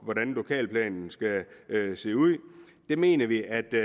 hvordan lokalplanen skal se ud der mener vi at det